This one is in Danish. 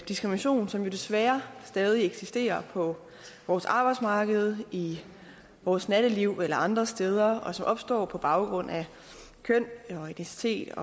diskrimination som jo desværre stadig eksisterer på vores arbejdsmarked i vores natteliv eller andre steder og som opstår på baggrund af køn etnicitet